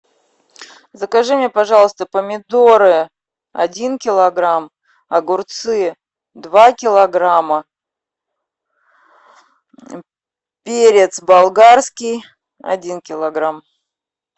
закажи мне пожалуйста помидоры один килограмм огурцы два килограмма перец болгарский один килограмм